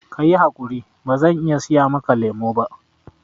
Ka yi haƙuri, bazan iya siya maka lemo ba